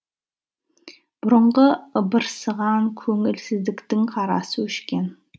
бұрынғы ыбырсыған көңілсіздіктің қарасы өшкен